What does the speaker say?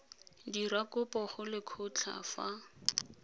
dira kopo go lekgotlha fa